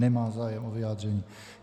Nemá zájem o vyjádření.